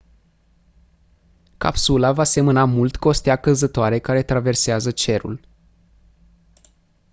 capsula va semăna mult cu o stea căzătoare care traversează cerul